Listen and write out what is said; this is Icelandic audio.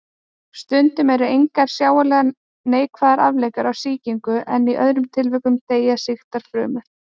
Stundum eru engar sjáanlegar neikvæðar afleiðingar af sýkingu en í öðrum tilvikum deyja sýktar frumur.